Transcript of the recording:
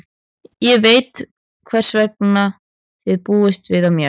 Ég veit hvers þið búist við af mér.